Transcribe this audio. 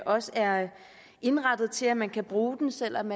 også er indrettet til at man kan bruge den selv om